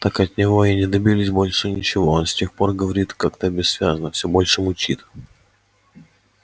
так от него и не добились больше ничего он с тех пор говорит как-то бессвязно всё больше мычит